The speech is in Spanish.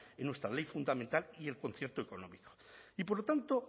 en nuestra ley fundamental y el concierto económico y por lo tanto